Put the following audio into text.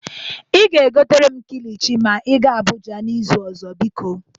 Ị ga-egotere m kilichi ma ị ga Abụja n'izu ọzọ, biko.